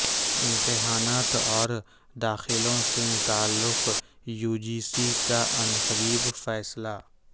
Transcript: امتحانات اور داخلوں سے متعلق یو جی سی کا عنقریب فیصلہ